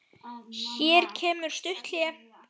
Hér kemur stutt hlé.